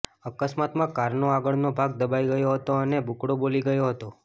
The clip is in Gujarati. અકસ્માતમાં કારનો આગળનો ભાગ દબાઈ ગયો હતો અને બુકડો બોલી ગયો હતો